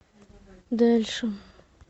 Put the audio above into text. дальше